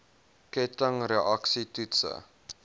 ketting reaksie toetse